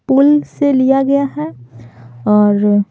पुल से लिया गया है और--